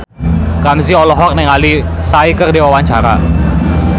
Ramzy olohok ningali Psy keur diwawancara